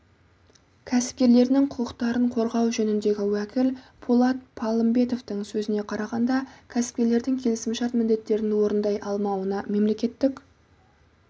кәсіпкерлерінің құқықтарын қорғау жөніндегі уәкіл болат палымбетовтың сөзіне қарағанда кәсіпкерлердің келісімшарт міндеттерін орындай алмауына мемлекеттік